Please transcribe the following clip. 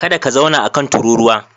Kada ka zauna a kan tururuwa.